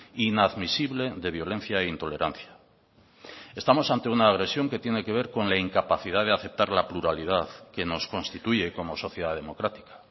inadmisible de violencia e intolerancia estamos ante una agresión que tiene que ver con la incapacidad de aceptar la pluralidad que nos constituye como sociedad democrática